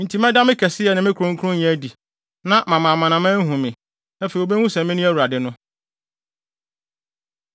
Enti mɛda me kɛseyɛ ne me kronkronyɛ adi, na mama amanaman ahu me. Afei wobehu sɛ mene Awurade no.’